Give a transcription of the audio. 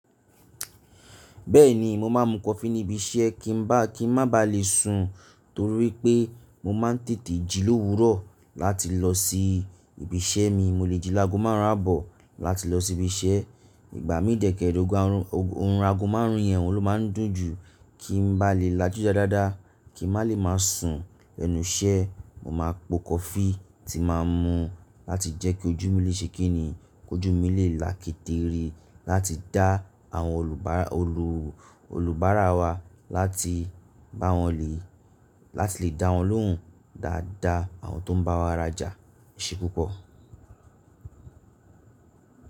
Bẹ́ẹ̀ni, mo máa n mu kọfí níbi iṣẹ́ kí n bá, kí n má ba lè sùn. Torí pé mo máa ń tètè jí lówúrọ̀ láti lọ sí ibi iṣẹ́ mi. Mo lè jí lago márùn ún àbọ̀ láti lọ sí ibi iṣẹ́. Ìgbà mi de kère ogun, orun àgọ́ márún yèn ohun ló máa ń dùn jù. Kí n bá lè lajú dáadáa, kí n má lè má sùn lẹnu iṣẹ́, mo máa po kọfí tí mà á mu láti jẹ́ kí ojú mi lè ṣe kíni, kójú mi lè lákétere láti dá àwọn olubaara, olu olùbárà wa, láti bá wọn lé, láti lè dá wọn lóhùn dáadáa, àwọn tó ń bá wa ràjà. E sé púpọ̀.